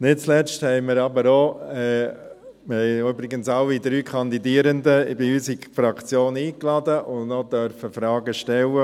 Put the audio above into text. Wir haben übrigens alle drei Kandidierenden in unsere Fraktion eingeladen und durften Fragen stellen.